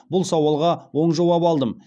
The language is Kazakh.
бұл сауалға оң жауап алдым